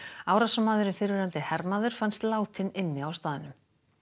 árásarmaðurinn fyrrverandi hermaður fannst látinn inni á staðnum